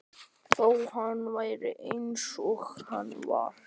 Þó hann væri eins og hann var.